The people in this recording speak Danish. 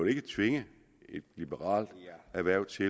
ikke tvinge et liberalt erhverv til